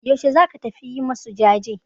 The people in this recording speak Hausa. Yaushe za ka tafi yi masu jaje?